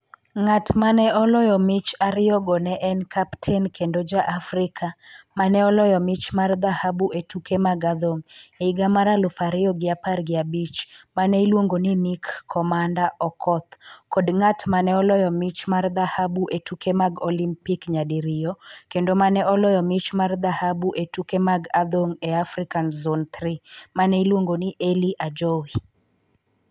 Ng'at ma ne oloyo mich ariyogo ne en kapten kendo ja-Afrika ma ne oloyo mich mar dhahabu e tuke mag adhong' e higa mar aluf ariyo gi apar gi abich ma ne iluongo ni Nick 'Commander' Okoth kod ng'at ma ne oloyo mich mar dhahabu e tuke mag Olimpik nyadiriyo kendo ma ne oloyo mich mar dhahabu e tuke mag adhong' e Afrika Zone Three, ma ne iluongo ni Elly Ajowi.